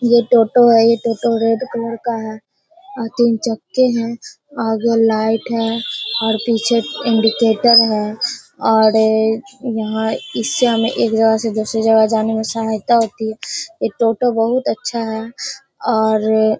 ये टोटो है ये टोटो रेड कलर का है अ तीन चक्के है आगे लाइट है और पीछे इंडिकेटर है और एक यहाँ इससे हमे एक जगह से दूसरी जगह जाने में सहायता होती है| ये टोटो बहुत अच्छा है और ए --